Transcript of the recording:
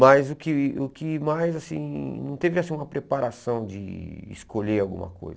Mas o que o que mais, assim, não teve assim uma preparação de escolher alguma coisa.